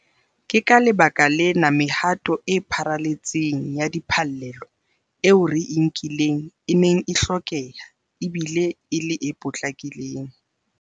Ke ka lebaka lena mehato e pharaletseng ya diphallelo eo re e nkileng e neng e hlokeha e bile e le e potlakileng.